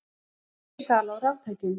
Aukin sala á raftækjum